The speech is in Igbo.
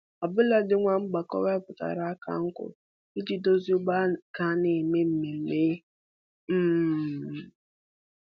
Ọbụladị nwa mgbọkọ wetara aka nkwụ iji dozie ọgbọ a ga-anọ mee mmemme um